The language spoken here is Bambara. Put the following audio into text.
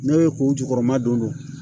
Ne bɛ k'o jukɔrɔma don